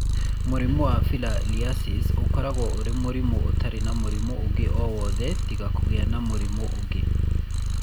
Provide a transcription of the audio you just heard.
Mũrimũ wa Filariasis ũkoragwo ũrĩ mũrimũ ũtarĩ na mũrimũ ũngĩ o wothe tiga kũgĩa na mũrimũ ũngĩ.